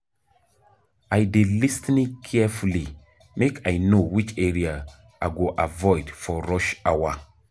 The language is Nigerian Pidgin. I dey lis ten carefully make I know which area I go avoid for rush hour.